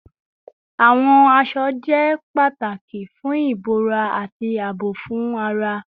Awọn aṣọ jẹ pataki fun ibora ati aabo fun ara